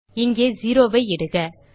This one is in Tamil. இங்கே 0ஐ இடுக